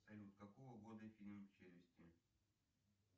салют какого года фильм челюсти